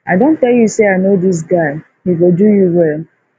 i don tell you say i know dis guy he go do you well